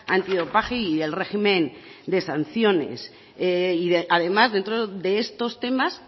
antidopaje y el régimen de sanciones además dentro de estos temas